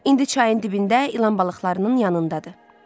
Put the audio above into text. İndi çayın dibində ilan balıqlarının yanındadır.